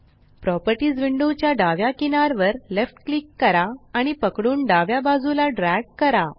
properties window च्या डाव्या किनार वर लेफ्ट क्लिक करा आणि पकडून डाव्या बाजूला ड्रॅग करा